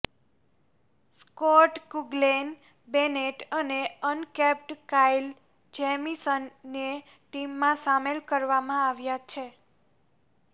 Scott Kuggeleijn Bennett અને uncapped Kyle જેમીસનને ટીમમાં સામેલ કરવામાં આવ્યા છે